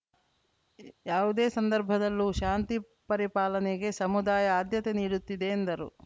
ಯಾವುದೇ ಸಂದರ್ಭದಲ್ಲೂ ಶಾಂತಿ ಪರಿಪಾಲನೆಗೆ ಸಮುದಾಯ ಆದ್ಯತೆ ನೀಡುತ್ತಿದೆ ಎಂದರು